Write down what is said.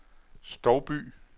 Stouby